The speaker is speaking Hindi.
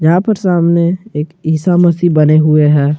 यहां पर सामने एक ईसा मसीह बने हुए हैं।